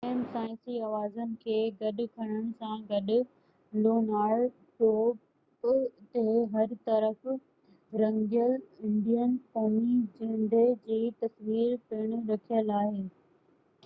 ٽن اهم سائنسي اوزارن کي گڏ کڻڻ سان گڏ لونار پروب تي هر طرف رنگيل انڊين قومي جهنڊي جي تصوير پڻ رکيل آهي